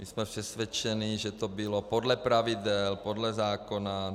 My jsme přesvědčeni, že to bylo podle pravidel, podle zákona.